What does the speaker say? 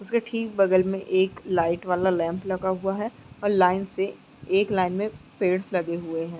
उसके ठीक बगल में एक लाइट वाला लैंप लगा हुआ है और लाइन से एक लाइन में पेड़स लगे हुए हैं।